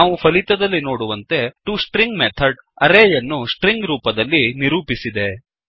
ನಾವು ಫಲಿತದಲ್ಲಿ ನೋಡುವಂತೆ ಟೋಸ್ಟ್ರಿಂಗ್ ಮೆಥಡ್ ಅರೇಯನ್ನು ಸ್ಟ್ರಿಂಗ್ ರೂಪದಲ್ಲಿ ನಿರೂಪಿಸಿದೆ